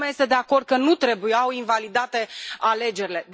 Toată lumea este de acord că nu trebuiau invalidate alegerile.